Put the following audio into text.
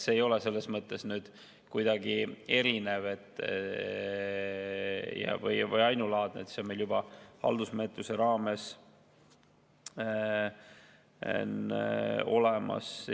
See ei ole kuidagi erinev või ainulaadne, see on meil juba haldusmenetluses olemas.